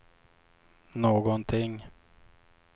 någonting